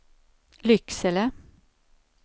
Lycksele